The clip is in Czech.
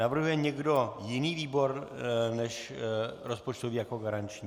Navrhuje někdo jiný výbor než rozpočtový jako garanční?